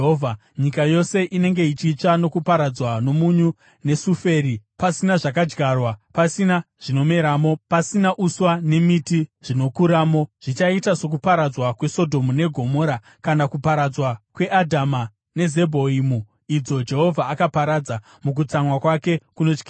Nyika yose inenge ichitsva nokuparadzwa nomunyu nesafuri, pasina zvakadyarwa, pasina zvinomeramo, pasina uswa nemiti zvinokuramo. Zvichaita sokuparadzwa kweSodhomu neGomora kana kuparadzwa kweAdhama neZebhoimi, idzo Jehovha akaparadza mukutsamwa kwake kunotyisa.